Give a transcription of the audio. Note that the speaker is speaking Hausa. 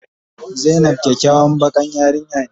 Zainab kyakyawan bakan yarinya ne.